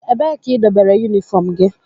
Ebee ka idobere unifom gị?